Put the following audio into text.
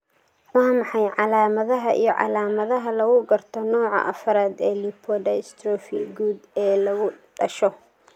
Waa maxay calaamadaha iyo calaamadaha lagu garto nooca 4 ee lipodystrophy guud ee lagu dhasho?